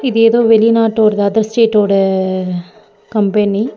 ஏதோ வெளிநாட்டோட அதர் ஸ்டேட்டோட கம்பெனி .